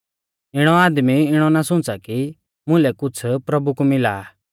इणौ आदमी इणौ ना सुंच़ा कि मुलै कुछ़ प्रभु कु मिला आ